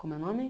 Como é o nome?